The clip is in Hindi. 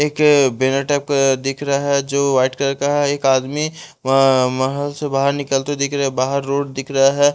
एक बेला टाइप का दिख रहा है जो वाइट कलर का है एक आदमी महल से बाहर निकलते दिख रहा है बाहर रोड दिख रहा है।